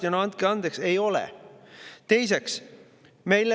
Ja no andke andeks, ei ole!